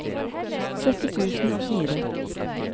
sytti tusen og fire